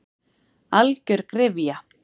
Algjör gryfja.